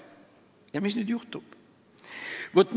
Ja mis siis juhtub?